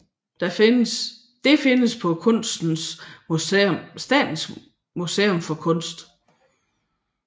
Det findes på Statens Museum for Kunst